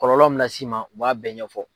Kɔlɔlɔ min las'i ma o b'a bɛɛ ɲɛfɔ.